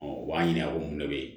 u b'a ɲininka ko mun de bɛ yen